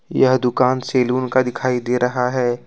यह दुकान सैलून का दिखाई दे रहा है।